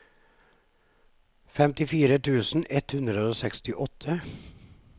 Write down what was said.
femtifire tusen ett hundre og sekstiåtte